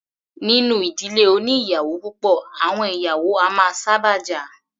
Nínú ìdílé oní ìyàwó púpọ̀, àwọn ìyàwó a máa sábà jà.